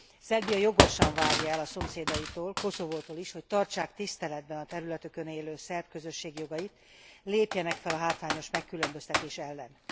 Szerbia jogosan várja el a szomszédaitól Koszovótól is hogy tartsák tiszteletben a területükön élő szerb közösség jogait, lépjenek fel a hátrányos megkülönböztetés ellen.